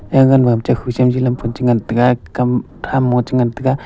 eagan ma hapdekhu chem chilam pun chu ngan taiga kam ham mo chu ngan taiga.